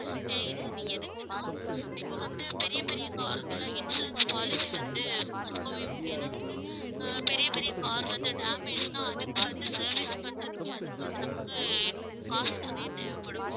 இது வந்து எதுக்குன்னா இப்ப வந்து பெரிய பெரிய car க்கு எல்லாம் insurance policy வந்து ரொம்பவே முக்கியம் ஏன்னா வந்து ஆஹ் பெரிய, பெரிய car வந்து damage ன்னா அதுக்கு வந்து service பண்றதுக்கே அதுக்கு நமக்கு காசு நிறைய தேவைப்படும்